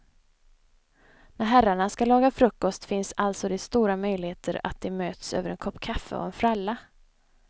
När herrarna ska laga frukost finns alltså det stora möjligheter att de möts över en kopp kaffe och en fralla.